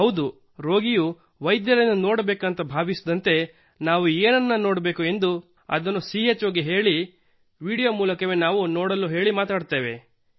ಹೌದು ರೋಗಿಯು ವೈದ್ಯರನ್ನು ನೋಡಬೇಕು ಎಂದು ಭಾವಿಸಿದಂತೆ ನಾವು ಏನನ್ನು ನೋಡಬೇಕು ಎಂದು ಅನಿಸುತ್ತದೆಯೋ ಅದನ್ನು ಚೋ ಗೆ ನೋಡಲು ಹೇಳಿ ವೀಡಿಯೊ ಮೂಲಕವೇ ನಾವು ನೋಡಲು ಹೇಳಿ ಮಾತನಾಡುತ್ತೇವೆ